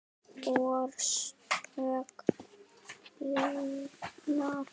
Orsök bilunar?